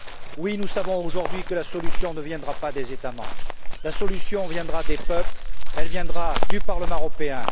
Oui, nous savons aujourd'hui que la solution ne viendra pas des États membres. La solution viendra des peuples, elle viendra du Parlement européen.